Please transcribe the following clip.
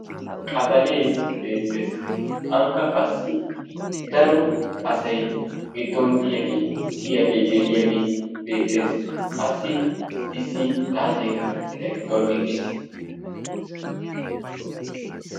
qabalee beettes, ankka qassi daro asaykka kiyiyage geliyage beetees, ankka qasi issi xaacee eqqidaagee beetees.